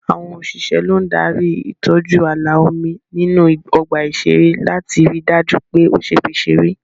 Àwọn òṣìṣẹ́ ló ń darí ìtọ́jú ààlà omi nínú ọgbà ìṣeré láti rí dájú pé o ṣeé fi serey